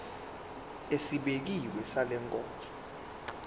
esibekiwe sale nkonzo